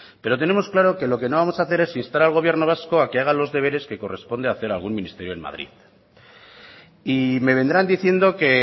pero tenemos claro que lo que no vamos a hacer es instar al gobierno vasco a que haga los deberes que corresponde hacer a algún ministerio en madrid y me vendrán diciendo que